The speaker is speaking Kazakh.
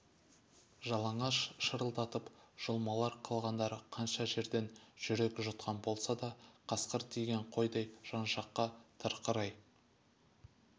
жалаңаш шырылдатып жұлмалар қалғандары қанша жерден жүрек жұтқан болса да қасқыр тиген қойдай жан-жаққа тырқырай